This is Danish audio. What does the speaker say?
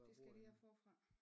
Det skal jeg lige have forfra